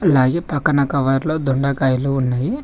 అలాగే పక్కన కవర్లో దొండకాయలు ఉన్నాయి.